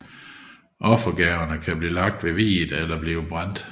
Offergaverne kan blive lagt ved viet eller blive brændt